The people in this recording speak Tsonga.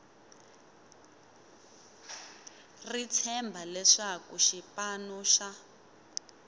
ri tshemba leswaku xipano xa